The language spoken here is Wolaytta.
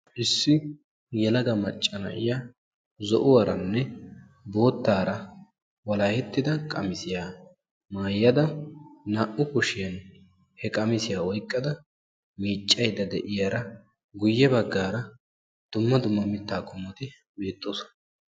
Issi yelaga macca na'iya zo'uwaranne boottara walakettidda qamissiya maayadda goye baggara dumma dumma mitta qommotti beetosonna.